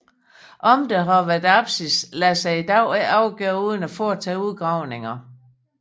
Om der har været apsis lader sig i dag ikke afgøre uden at foretage udgravninger